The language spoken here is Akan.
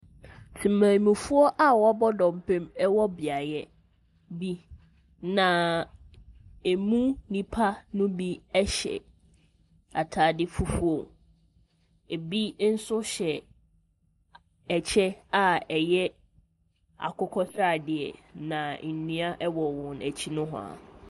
Temammufoɔ a wɔabɔ dɔmpem wɔ beaeɛ bi, na ɛmu nnipa no bi hyɛ atade fufuo, ebi nso hyɛ ɛkyɛ a ɛyɛ akokɔ sradeɛ, na nnua wɔ wɔn akyi nohoa.